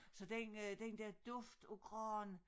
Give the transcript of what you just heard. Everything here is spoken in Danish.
Så den øh den dér duft af gran